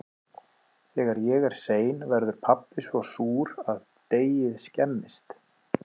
Þegar ég er sein verður pabbi svo súr að deigið skemmist.